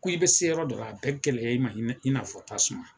Ko i bɛ se yɔrɔ dɔ la a bɛ gɛlɛya i ma i n'a i n'a fɔ tasuma.